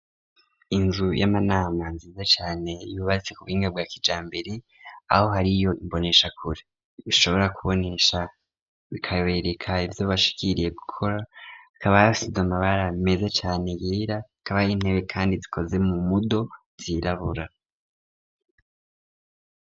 Inzu y'amanama nziza cane yubatse ku buhinga bwa kijambere aho hariyo imboneshakure zishobora kubonesha bikabereka ivyo bashikiriye gukora hakaba hasize amabara meze cane yere hakaba hari intebe kandi zikozwe mu mudo zirabura.